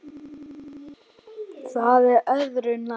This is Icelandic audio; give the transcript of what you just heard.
Það er öðru nær.